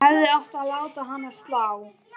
Hefði átt að láta hana slá.